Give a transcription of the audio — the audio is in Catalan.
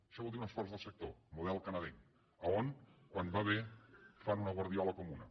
això vol dir un esforç del sector el model canadenc a on quan va bé fan una guardiola comuna